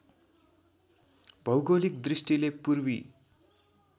भौगोलिक दृष्टिले पूर्वी